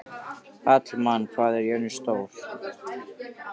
Hallmann, hvað er jörðin stór?